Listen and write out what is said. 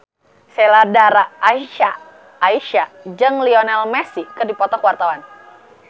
Sheila Dara Aisha jeung Lionel Messi keur dipoto ku wartawan